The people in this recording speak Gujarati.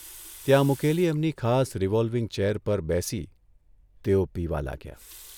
ત્યાં મૂકેલી એમની ખાસ રિવોલ્વીંગ ચેર પર બેસી તેઓ પીવા લાગ્યા.